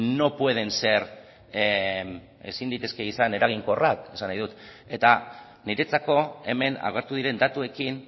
no pueden ser ezin litezke izan eraginkorrak esan nahi dut eta niretzako hemen agertu diren datuekin